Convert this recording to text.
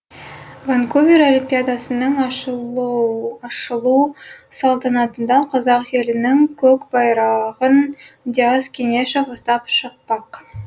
ванкувер олимпиадасының ашылу салтанатында қазақ елінің көк байрағын диас кенешов ұстап шықпақ